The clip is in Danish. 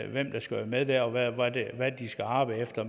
hvem der skal være med der og hvad de skal arbejde efter